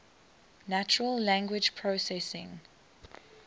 natural language processing